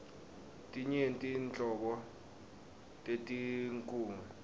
tinyenti nhlobo tetinkhunga